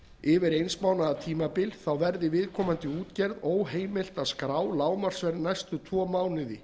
yfir eins mánaðar tímabil verði viðkomandi útgerð óheimilt að skrá lágmarksverð næstu tvo mánuði